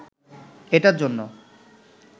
এটার জন্য